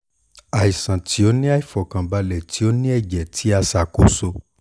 aisan ti o ni aifọkanbalẹ ti o ni ẹjẹ ti a a ṣakoso